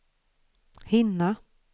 hinna